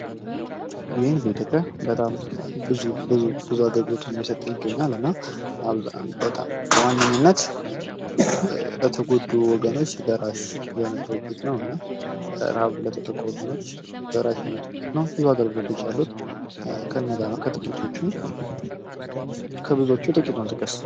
ዩኤን በኢትዮጵያ በጣም ብዙ ብዙ አገልግሎቶችን እየሰጠ ይገኛል። እና በጣም በዋነኝነት ለተጎዱ ወገኖች ደራሽ የሆነ ድርጅት ነው። እና በጣም ረሃብ ለተጠቁ ወገኖች ደራሽ የሆነ ድርጅት ነው። ብዙ አገልግሎቶች አሉት ከእነዛ መካከል ከብዙዎቹ ጥቂቱን ጥቀስ።